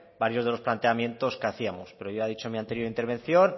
varios de los planteamientos que hacíamos pero ya he dicho en mi anterior intervención